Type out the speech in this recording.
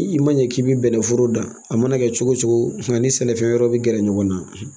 I ma ɲɛ k'i bɛ bɛnɛ foro dan a mana kɛ cogo o cogo nga ni sɛnɛfɛn wɛrɛ bɛ gɛrɛ ɲɔgɔn na